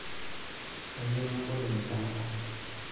Kayieu nabol emilango.